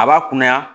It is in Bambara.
A b'a kunnaya